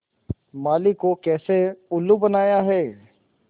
माली को कैसे उल्लू बनाया है